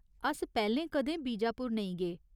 अस पैह्‌लें कदें बीजापुर नेईं गे।